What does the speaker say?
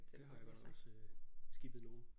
Det har jeg godt nok også skippet nogle